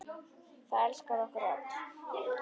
Það elskar okkur öll.